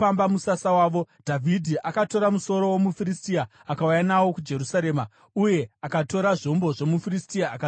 Dhavhidhi akatora musoro womuFiristia akauya nawo kuJerusarema, uye akatora zvombo zvomuFiristia akazviisa mutende rake.